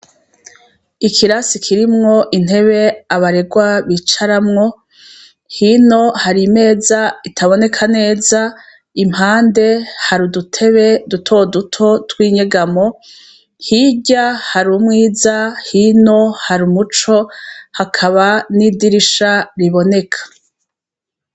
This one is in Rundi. Ikirasi kirimwo intebe abaregwa bicaramwo, hino har' imez' itaboneka neza, impande har'udutebe dutoduto twinyegamo, hirya har' umwiza hino har' umuco hakaba n'idirisha riboneka.